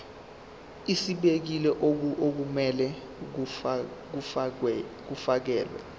ezibekiwe okumele kufakelwe